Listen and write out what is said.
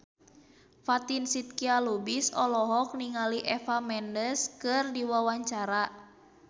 Fatin Shidqia Lubis olohok ningali Eva Mendes keur diwawancara